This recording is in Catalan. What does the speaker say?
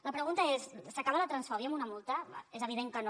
la pregunta és s’acaba la transfòbia amb una multa és evident que no